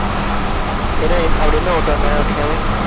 சரி அஹ் அப்படி என்ன ஓட்டுவாங்க? ஓட்டிகாமி